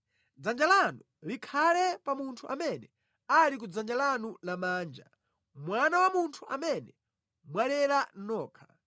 Dzanja lanu likhale pa munthu amene ali ku dzanja lanu lamanja, mwana wa munthu amene mwalera nokha.